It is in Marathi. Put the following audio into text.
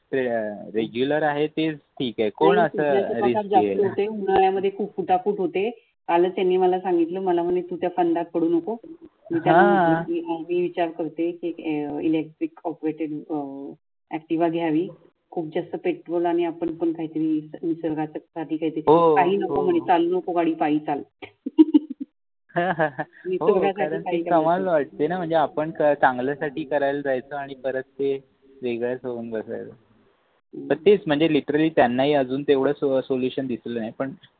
हो ते कमाल वाटते न म्हणजे आपण काय चांगलंसाठी करायला जायचं आणि परत ते वेगळेच होऊन बसेल. तर तेच म्हणजे लिटरॅली त्यानाही अजून तेवढे सोल्यू सोल्यूशन दिसल नाही पण